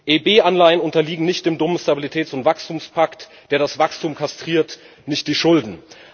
EIB Anleihen unterliegen nicht dem dummen Stabilitäts und Wachstumspakt, der das Wachstum kastriert, nicht die Schulden.